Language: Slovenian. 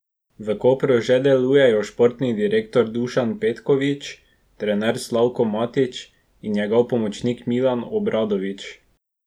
V Kopru že delujejo športni direktor Dušan Petković, trener Slavko Matić in njegov pomočnik Milan Obradović.